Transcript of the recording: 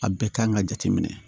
A bɛɛ kan ka jate minɛ